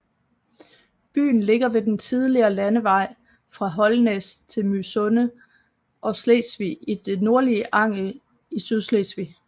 Byen ligger ved den tidligere landevej fra Holnæs til Mysunde og Slesvig i det nordlige Angel i Sydslesvig